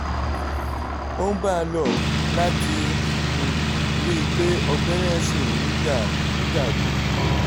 ó ń bá a lọ láti um rí i pé ọgbẹ́ náà ṣì ń dà ń dà rú